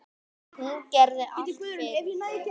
Hún gerði allt fyrir þig.